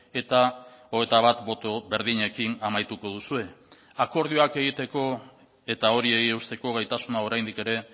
eta hogeita bat boto berdinekin amaituko duzue akordioak egiteko eta horiei eusteko gaitasuna oraindik ere